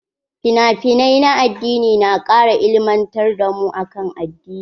Finafinai na addini na kara ilimantar da mu akan addini.